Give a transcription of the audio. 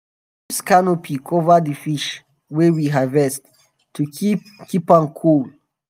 we dey use canopy um cover d fish wey we harvest to keep keep am cool.